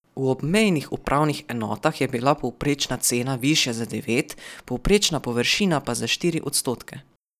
V obmejnih upravnih enotah je bila povprečna cena višja za devet, povprečna površina pa za štiri odstotke.